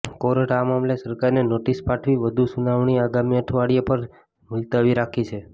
કોર્ટે આ મામલે સરકારને નોટિસ પાઠવી વધુ સુનાવણી આગામી અઠવાડિયા પર મુલતવી રાખી છે